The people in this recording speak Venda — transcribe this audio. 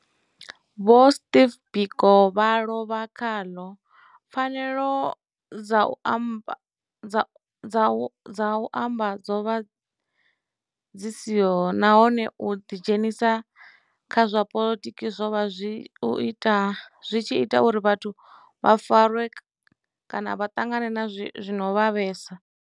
Vho Steve Biko vha lovha khaḽo, pfanelo dza u amba dzo vha dzi siho nahone u ḓi dzhenisa kha zwa poḽotiki zwo vha zwi tshi ita uri vhathu vha farwe kana vha ṱangana na zwi no vhavhesa.